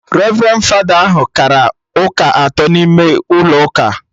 Revrendi fada ahụ kara ụka atọ n'ime ụlọ ụka